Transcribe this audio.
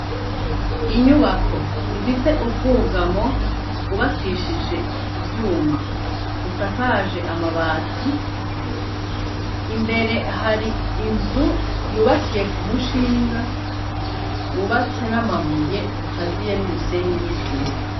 Inyubako ifise ubwugamo bwubakishije ivyuma, busakaje amabati, imbere hari inzu yubakiye ku mushinga wubatse n'amabuye ukaziye n'umusenyi n'isima.